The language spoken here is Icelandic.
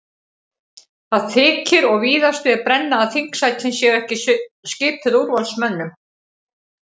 Það þykir og víðast við brenna að þingsætin séu ekki skipuð úrvalsmönnum.